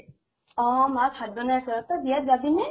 অহ মা ভাত বনাই আছে ৰʼ, তই বিয়াত যাবি নে?